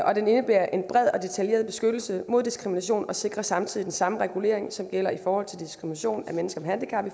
og den indebærer en bred og detaljeret beskyttelse mod diskrimination og sikrer samtidig den samme regulering som gælder i forhold til diskrimination af mennesker med handicap i